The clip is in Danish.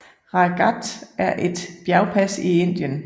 Rāj Ghāt er et bjergpas i Indien